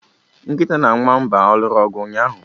Nkịta na nwamba a lụrụ ọgụ ụnyaahụ?